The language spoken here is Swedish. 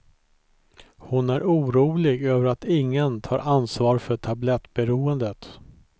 Hon är orolig över att ingen tar ansvar för tablettberoendet.